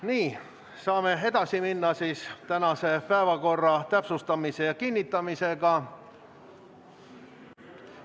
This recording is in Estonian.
Nii, saame edasi minna tänase päevakorra täpsustamise ja kinnitamisega.